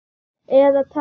Eða taka í.